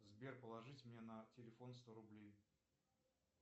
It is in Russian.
сбер положите мне на телефон сто рублей